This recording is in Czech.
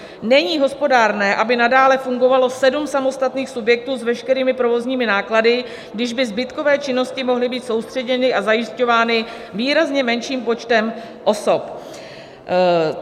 Není hospodárné, aby nadále fungovalo sedm samostatných subjektů s veškerými provozními náklady, když by zbytkové činnosti mohly být soustředěny a zajišťovány výrazně menším počtem osob.